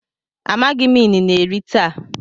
amaghim inine eri taa.